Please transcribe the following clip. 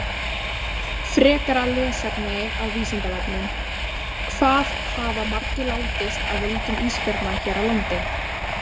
Frekara lesefni á Vísindavefnum: Hvað hafa margir látist af völdum ísbjarna hér á landi?